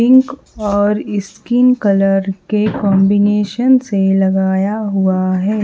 Pink और skin colour के combination से लगाया हुआ है।